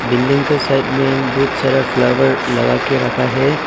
Building के side में बहुत सारा फ्लावर लगा के रखा है।